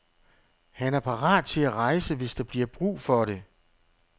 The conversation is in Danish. Han er parat til at rejse, hvis der bliver brug for det.